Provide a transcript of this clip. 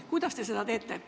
Kuidas te seda teete?